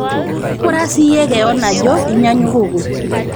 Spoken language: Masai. ng'ura siyie keoon ajo inyanyukuku